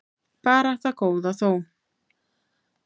Bara það góða þó.